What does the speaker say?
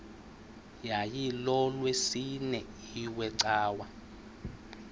yayilolwesine iwe cawa